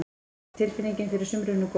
Er tilfinningin fyrir sumrinu góð?